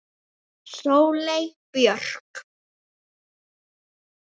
Sóley Björk